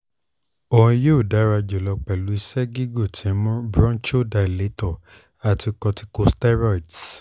o yoo dara julọ pẹlu iṣẹ gigun ti nmu bronchodilator ati corticosteroids